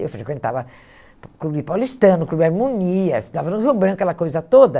Eu frequentava Clube Paulistano, Clube Harmonia, estudava no Rio Branco, aquela coisa toda.